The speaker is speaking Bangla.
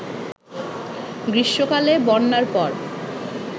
গ্রীষ্মকালে বন্যার পর